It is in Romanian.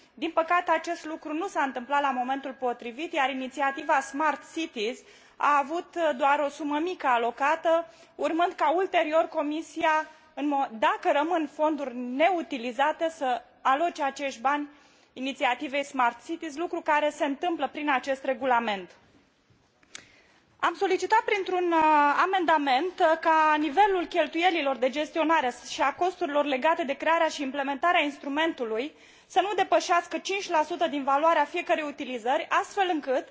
Din păcate, acest lucru nu s a întâmplat la momentul potrivit, iar inițiativa smart cities a avut doar o sumă mică alocată, urmând ca, ulterior, Comisia, dacă rămân fonduri neutilizate, să aloce acești bani inițiativei smart cities, lucru care se întâmplă prin acest regulament. Am solicitat printr un amendament ca nivelul cheltuielilor de gestionare și a costurilor legate de crearea și implementarea instrumentului să nu depășească 5 din valoarea fiecărei utilizări, astfel încât